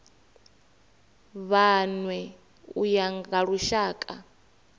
vhanwe u ya nga lushaka